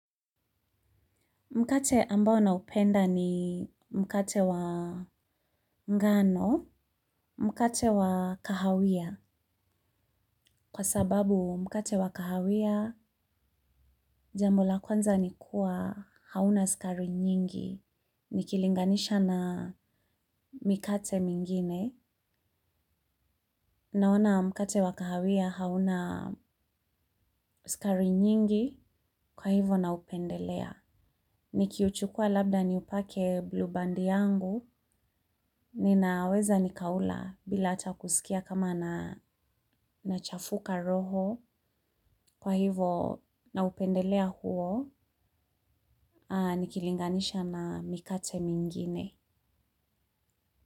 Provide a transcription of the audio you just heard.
Mkate ambao na upenda ni mkate wa mgano, mkate wa kahawia. Kwa sababu mkate wa kahawia, jambo la kwanza nikua hauna skari nyingi. Nikilinganisha na mikate mingine. Naona mkate wa kahawia hauna skari nyingi kwa hivo na upendelea. Nikiuchukua labda niupake blue bandi yangu, ninaweza nikaula bila atakusikia kama na nachafuka roho kwa hivo na upendelea huo nikilinganisha na mikate mingine.